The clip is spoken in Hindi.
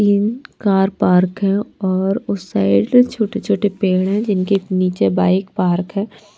तीन कार पार्क है और उस साइड छोटे-छोटे पेड़ है जिनके नीचे बाइक पार्क है।